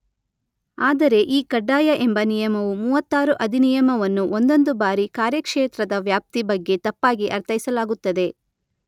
ಆದರೆ ಈ ಕಡ್ಡಾಯ ಎಂಬ ನಿಯಮವು ಮೂವತ್ತಾರು ಅಧಿನಿಯಮವನ್ನು ಒಂದೊಂದು ಬಾರಿ ಕಾರ್ಯಕ್ಷೇತ್ರದ ವ್ಯಾಪ್ತಿ ಬಗ್ಗೆ ತಪ್ಪಾಗಿ ಅರ್ಥೈಸಲಾಗುತ್ತದೆ.